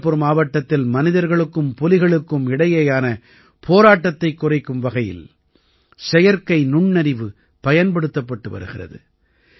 சந்திரபுர் மாவட்டத்தில் மனிதர்களுக்கும் புலிகளுக்கும் இடையேயான போராட்டத்தைக் குறைக்கும் வகையில் செயற்கை நுண்ணறிவு பயன்படுத்தப்பட்டு வருகிறது